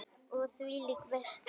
Og þvílík veisla!